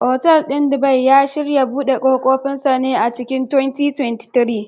Otal ɗin Dubai, ya shirya buɗe ƙofofinsa a cikin 2023.